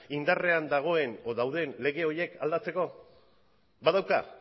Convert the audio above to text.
indarrean dagoen edo dauden lege horiek aldatzeko badauka